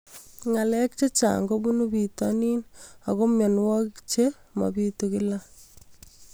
Ng'alek chechang' kopunu pitonin ako mianwogik che mapitu kila